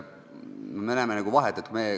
Me näeme siin vahet.